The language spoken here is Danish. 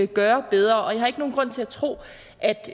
gøre bedre og jeg har ikke nogen grund til at tro